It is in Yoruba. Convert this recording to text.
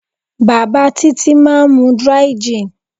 Bàbá Títí máa ń mu dry-gin.